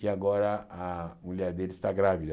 e agora a mulher dele está grávida.